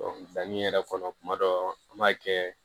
yɛrɛ kɔnɔ kuma dɔ an b'a kɛ